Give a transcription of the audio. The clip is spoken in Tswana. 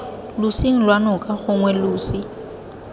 losing lwa noka gongwe losi